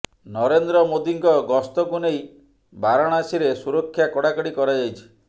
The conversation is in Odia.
ନରେନ୍ଦ୍ର ମୋଦିଙ୍କ ଗସ୍ତକୁ ନେଇ ବାରଣାସୀରେ ସୁରକ୍ଷା କଡାକଡି କରାଯାଇଛି